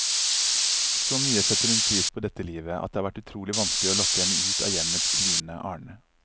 Så mye setter hun pris på dette livet, at det har vært utrolig vanskelig å lokke henne ut av hjemmets lune arne.